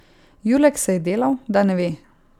Julek se je delal, da ne ve.